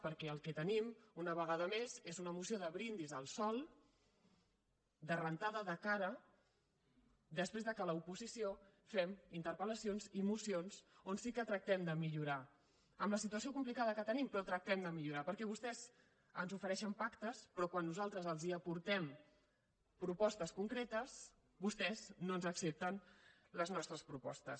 perquè el que tenim una vegada més és una moció de brindis al sol de rentada de cara després que l’oposició fem interpel·lacions i mocions on sí que tractem de millorar amb la situació complicada que tenim però tractem de millorar perquè vostès ens ofereixen pactes però quan nosaltres els aportem propostes concretes vostès no ens accepten les nostres propostes